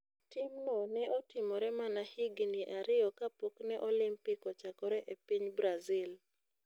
Timno ne otimore mana higini ariyo kapok ne Olimpik ochakore e piny Brazil.